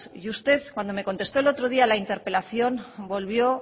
y usted cuando me contestó el otro día a la interpelación volvió